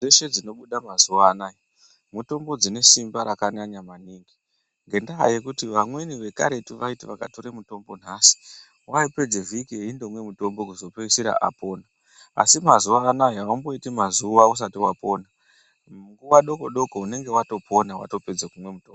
Dzeshe dzinobuda mazuwa anaa mutombo dzine simba rakanyanya maningi ngendaa yekuti vamweni vekareru vaiti vakatore mutombo nhasi waipedze vhiki eindomwe mutombo kuzopeisira apona asi mazuwa anaa aumboitibmazuwa usati wapona munguwa doko doko unenge watopona watopedza kumwe mutombo.